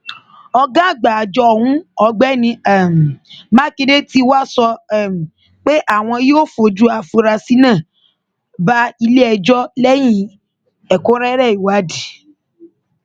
ọgá àgbà àjọ ọhún ọgbẹni um makinde tí wàá sọ um pé àwọn yóò fojú àfurasí náà bá iléẹjọ lẹyìn ẹkúnrẹrẹ ìwádìí